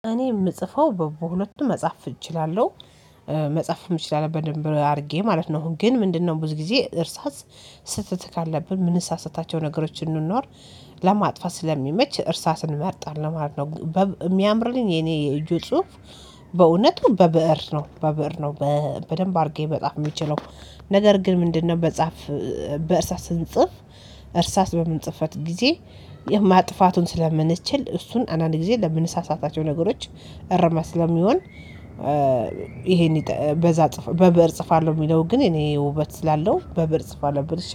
እኔ የምጽፈው በሁለቱም መጻፍ እችላለሁ መጻፍም እችላለሁ በደንብ አድርጌ ማለት ነው። ግን ምንድነው? ብዙ ጊዜ እርሳስ ስህተት ካለብን የምንሳሳታቸው ነገሮች እንኖር ለማጥፋት ስለሚመች እርሳስን እመርጣለሁ ማለት ነው። የሚያምርልኝ የኔ የእጁ ጽሁፍ። በእውነቱ በብእር ነው በብእር ነው በደንብ አድርጌ መጻፍ የምችለው። ነገር ግን ምንድነው? በጻፍ በእርሳስ ስንጽፍ እርሳስ በምንጽፈበት ጊዜ የማጥፋቱን ስለምንችል እሱን አንዳንድ ጊዜ ለምንሳሳታቸው ነገሮች እረማት ስለሚሆን። ይሄን በዛ በብእር እጽፋለሁ የሚለው ግን እኔ ውበት ስላለው በብእር እጽፋለሁ